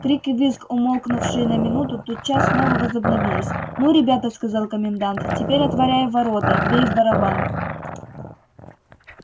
крик и визг умолкнувшие на минуту тотчас снова возобновились ну ребята сказал комендант теперь отворяй ворота бей в барабан